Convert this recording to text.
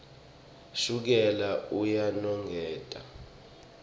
shukela uyanongotela